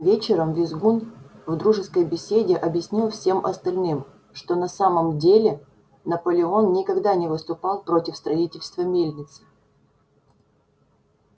вечером визгун в дружеской беседе объяснил всем остальным что на самом деле наполеон никогда не выступал против строительства мельницы